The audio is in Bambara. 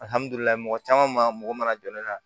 Alihamudulila caman mago mana jɔ ne la